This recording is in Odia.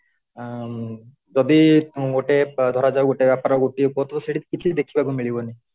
ଯଦି ଗୋଟେ ମୁଁ ଧରା ଯାଉ ଗୋଟିଏ ବାପା ର ଗୋଟେ ପୁଅ ଥିବ ସେଠି କିଛି ଦେଖିବା କୁ ମିଳିବନି